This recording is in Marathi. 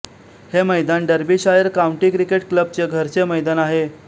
हे मैदान डर्बीशायर काउंटी क्रिकेट क्लबचे घरचे मैदान आहे